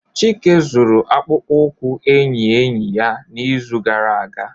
Chike zuru akpụkpọ ụkwụ enyi enyi ya n'izu gara aga